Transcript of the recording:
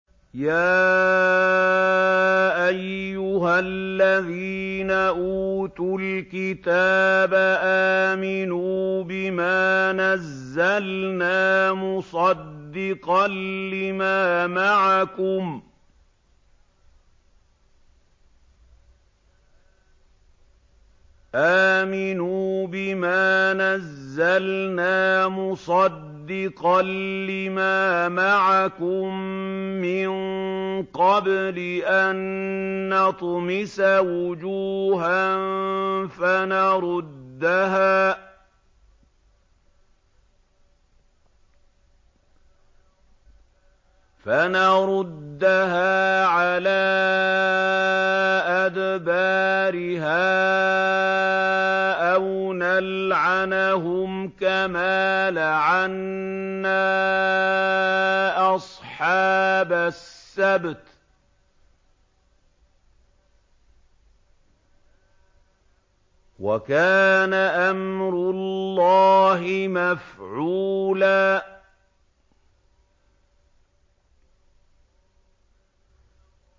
يَا أَيُّهَا الَّذِينَ أُوتُوا الْكِتَابَ آمِنُوا بِمَا نَزَّلْنَا مُصَدِّقًا لِّمَا مَعَكُم مِّن قَبْلِ أَن نَّطْمِسَ وُجُوهًا فَنَرُدَّهَا عَلَىٰ أَدْبَارِهَا أَوْ نَلْعَنَهُمْ كَمَا لَعَنَّا أَصْحَابَ السَّبْتِ ۚ وَكَانَ أَمْرُ اللَّهِ مَفْعُولًا